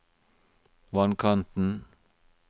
vannkanten